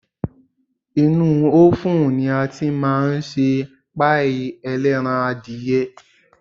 Inúú ófùn ni a tí máa ń ṣe páì ẹlẹ́ran-adìyẹ.